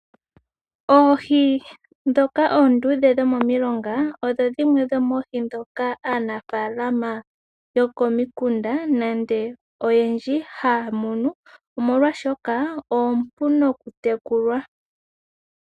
Oohi ndhoka oonduudhe dhomomilonga odho dhimwe dhomoohi ndhoka aanafaalama yokomikunda nenge oyendji haamono, omolwaashoka oompu nokutekulwa.